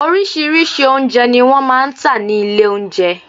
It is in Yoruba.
Oríṣirí́ṣi oúnjẹ ni wọ́n máa ń tà ní ilé oúnjẹ